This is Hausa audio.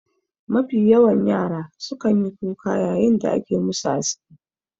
Mafi yawan yara sukan yi kuka yayin da ake musu aski.